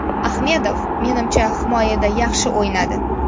Ahmedov, menimcha, himoyada yaxshi o‘ynadi.